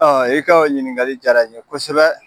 Aa e ka o ɲininkali jara n ye kosɛbɛ